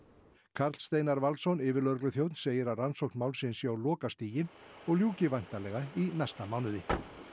Karl Steinar Valsson yfirlögregluþjónn segir að rannsókn málsins sé á lokastigi og ljúki væntanlega í næsta mánuði